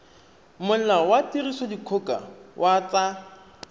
molao wa tirisodikgoka wa tsa